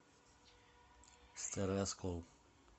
старый оскол